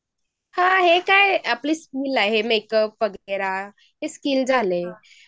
हे काय अपनी स्कुल आहे. मेकअप वगैरे हे आपले स्किल झालं